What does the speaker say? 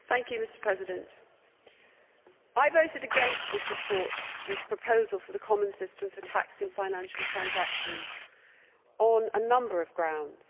Mr President, I voted against the report on this proposal for a common system for taxing financial transactions on a number of grounds.